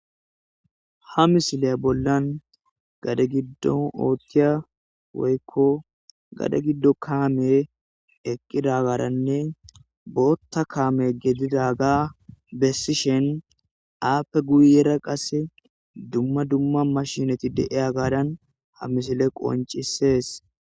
ha misiley bollan gade giddo oothiya woykko gade giddo kaame eqqida garanne bootta kaame gedidaga bessishen aappe guyera qasse dumma dumma mashinati deeya gaadan ha misile qoncisees